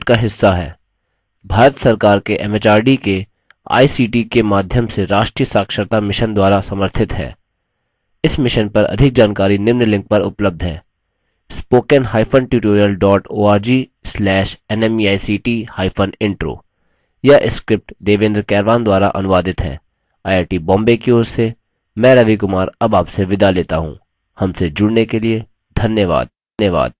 हमसे जुड़ने के लिए धन्यवाद